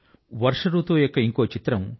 వర్ష రుతువు యొక్క ఇంకొక చిత్రం